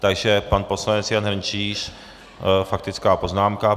Takže pan poslanec Jan Hrnčíř, faktická poznámka.